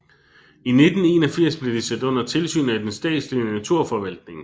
I 1981 blev det sat under tilsyn af den statslige naturforvaltning